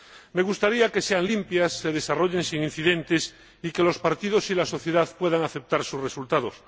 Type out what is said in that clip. Me gustaría que fueran limpias, se desarrollaran sin incidentes y que los partidos y la sociedad pudieran aceptar sus resultados.